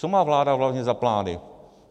Co má vláda hlavně za plány?